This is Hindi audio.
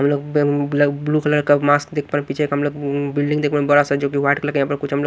ब व्ळकबंम ब्लैक ब्लू कलर का मास्क देख पा रहे पीछे का हम लोग ुम्म् बिल्डिंग देख बड़ा सा जो कि वाइट कलर का यहां पर कुछ हम लोग --